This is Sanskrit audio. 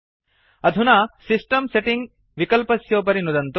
अधुना सिस्टम् सेटिंग विकल्पस्योपरि नुदन्तु